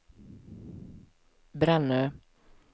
Brännö